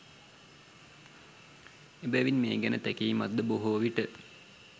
එබැවින් මේ ගැන තැකීමක්ද බොහෝ විට